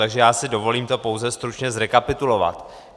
Takže já si dovolím to pouze stručně zrekapitulovat.